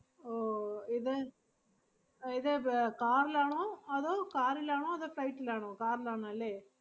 ഓ ഇത് അഹ് ഇത് പ്~ car ലാണോ അതോ car ഇലാണോ അതോ flight ലാണോ? car ലാന്ന് അല്ലേ?